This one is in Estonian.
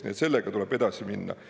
Nii et sellega tuleb edasi minna.